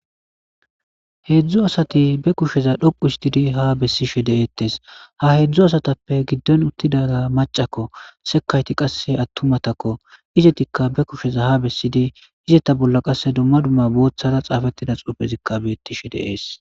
heedzdzu asati be kusheza dhoqu histidi ha bessishe de7eettes ha heedzdzu asatappe giddon uttidaga macakko sekayti qasse attumatakko izetikka be kusheza ha bessidi izetta bolla qasse dumma dumma booththara xaafettida xuufezikka beettishe deees